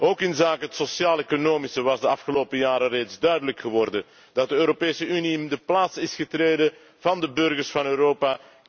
Ook op sociaal economisch vlak was de afgelopen jaren al duidelijk geworden dat de Europese Unie in de plaats is getreden van de burgers van Europa.